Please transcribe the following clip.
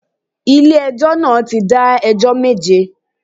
Ilé ẹjọ́ náà ti dá ẹjọ́ méje